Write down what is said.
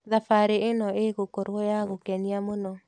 Thabarĩ ĩno ĩgũkorwo ya gũkenia mũno.